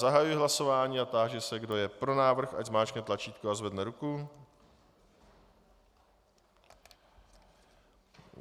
Zahajuji hlasování a táži se, kdo je pro návrh, ať zmáčkne tlačítko a zvedne ruku.